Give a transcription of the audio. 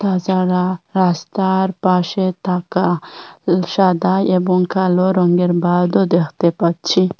তাছাড়া রাস্তার পাশে থাকা সাদা এবং কালো রঙ্গের বাদও দ্যাখতে পাচ্ছি।